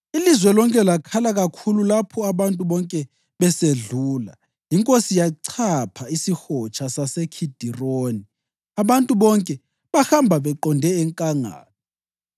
Ilizwe lonke lakhala kakhulu lapho abantu bonke besedlula. Inkosi yachapha isiHotsha saseKhidironi, abantu bonke bahamba beqonde enkangala.